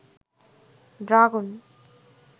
dragon